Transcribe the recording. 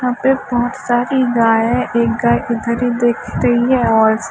यहां पे बहोत सारी गायें एक गाय इधर ही देख रही है और--